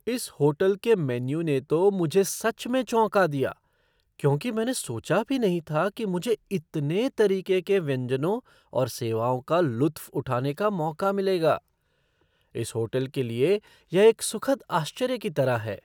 इस होटल के मेन्यू ने तो मुझे सच में चौंका दिया क्योंकि मैंने सोचा भी नहीं था कि मुझे इतने तरीके के व्यंजनों और सेवाओं का लुत्फ़ उठाने का मौका मिलेगा। इस होटल के लिए यह एक सुखद आश्चर्य की तरह है!